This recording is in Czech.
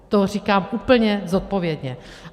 To říkám úplně zodpovědně.